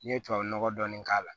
N'i ye tubabu nɔgɔ dɔɔni k'a la